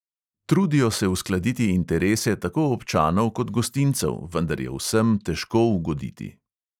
Trudijo se uskladiti interese tako občanov kot gostincev, vendar je vsem težko ugoditi.